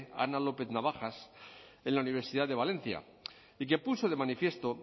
ana lópez navajas en la universidad de valencia y que puso de manifiesto